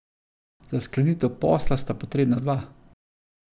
Za sklenitev posla sta potrebna dva.